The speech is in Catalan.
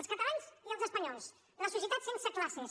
els catalans i els espanyols la societat sense classes